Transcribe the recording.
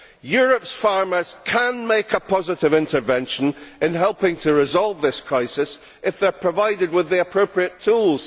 Europe's farmers can make a positive intervention in helping to resolve this crisis if they are provided with the appropriate tools.